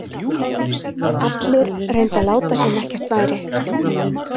Allir reyndu að láta sem ekkert væri.